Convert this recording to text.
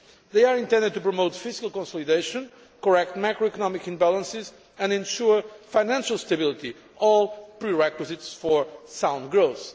They are intended to promote fiscal consolidation, correct macroeconomic imbalances, and ensure financial stability all prerequisites for sound growth.